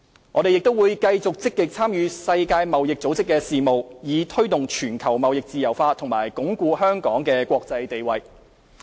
我們亦會繼續積極參與世界貿易組織的事務，以推動全球貿易自由化及鞏固香港的國際地位。